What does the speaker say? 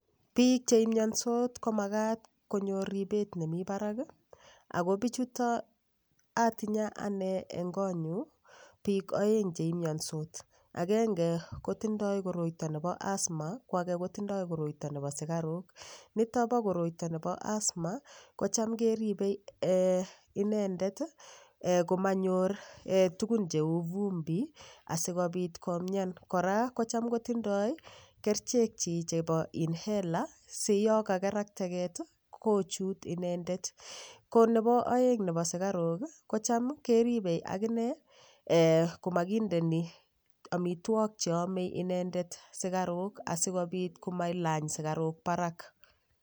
Biik cheimiyonsot komakat konyor ribet nemi barak ako bichuto atinye ane eng' konyu biik oeng' cheimiyonsot agenge kotindoi koroito nebo asthma ko ake kotindoi koroito nebo sikarok nito bo koroito nebo asthma ko cham keribei inendet komanyor tukun cheu vumbi asikobit komyan kora ko cham kotindoi kerichek chi chebo inhaler si yo kakeral teget kochu inendet ko nebo oeng' nebo sikarok ko cham keribei akine komakindeni omitwok cheomei inendet sikarok asikobit komalany sikarok barak